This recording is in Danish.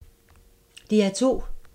DR2